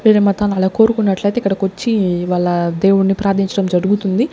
వేరే మతాల అలా కోరుకున్నట్లైతే ఇక్కడకొచ్చి వాళ్ళ దేవున్ని ప్రార్థించడం జరుగుతుంది.